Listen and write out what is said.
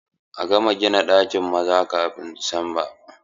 A gama gina ɗakin maza kafin Disamba!